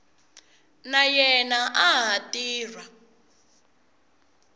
na yena a ha tirha